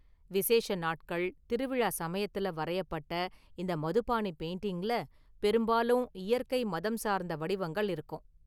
விசேஷ நாட்கள், திருவிழா சமயத்துல வரையப்பட்ட இந்த மதுபாணி பெயிண்டிங்ல பெரும்பாலும் இயற்கை, மதம் சார்ந்த வடிவங்கள் இருக்கும்.